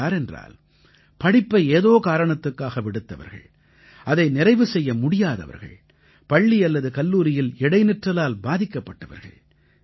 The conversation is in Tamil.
இவர்கள் யாரென்றால் படிப்பை ஏதோ காரணத்துக்காக விடுத்தவர்கள் அதை நிறைவு செய்ய முடியாதவர்கள் பள்ளி அல்லது கல்லூரியில் இடைநிற்றலால் பாதிக்கப்பட்டவர்கள்